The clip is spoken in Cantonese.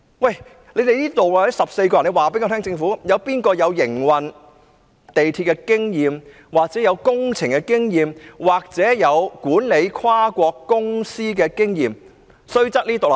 我請政府告訴我，在這14個人當中，究竟誰擁有營運地鐵的經驗、負責工程的經驗或管理跨國公司的經驗呢？